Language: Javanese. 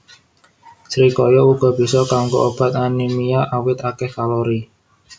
Srikaya uga bisa kanggo obat anémia awit akéh kalori